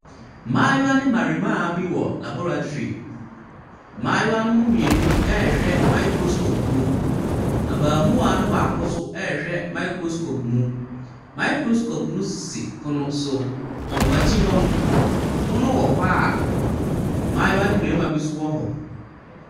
Mmayewa ne mmarima bi wɔ laboratory. Mmayewa no mu mmienu rehwɛ microscope mu. Abaamua no baako nso rehw microscope mu. Microscope no sisi pono so. Wɔn akyi hɔ no, pono wɔ hɔ a mmayewa ne mmarima bi nso wɔ hɔ.